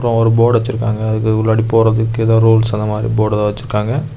அப்புறம் ஒரு போர்டு வச்சிருக்காங்க. அதுக்குள்ளாடி போறதுக்கு ஏதோ ரூல்ஸ் அந்த மாதிரி போர்டு வச்சிருக்காங்க.